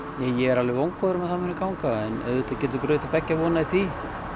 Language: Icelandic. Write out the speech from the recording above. ég er alveg vongóður að það muni ganga en auðvitað getur brugðið til beggja vona í því